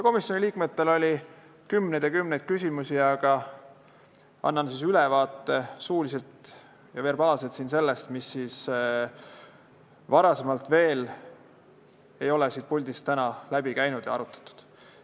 Komisjoni liikmetel oli kümneid ja kümneid küsimusi, ma annan suuliselt ülevaate sellest, mis veel ei ole siit puldist täna läbi käinud ja mida ei ole arutatud.